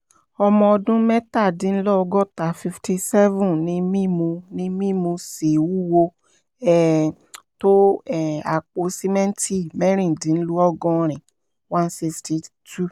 ọmọ ọdún mẹ́tàdínlọ́gọ́ta fifty seven ni mí mo ni mí mo sì wúwo um tó um àpò sìmẹ́ǹtì mẹ́rìndínlọ́gọ́rin one sixty two